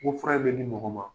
Ko fura in bɛ di mɔgɔ ma,